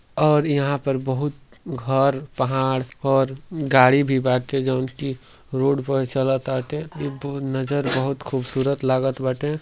और यहाँ पर बहुत घर पहाड़ और गाड़ी भी भागते जोन कि रोड प चलताटे। इब नजर बहुत खूबसूरत लागत बाटे।